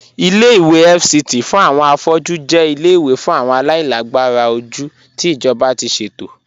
Ìlẹ̀-ìwé FCT fún awọn afọ̀jú jẹ̀ ìlẹ̀-ìwé fún awọn aláìlàgbàrà ojú tí ijọba ti ṣetò.